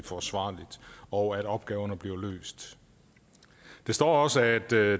forsvarligt og at opgaverne bliver løst der står også at der